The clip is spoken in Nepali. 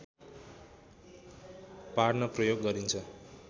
पार्न प्रयोग गरिन्छ